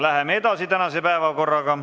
Läheme edasi tänase päevakorraga.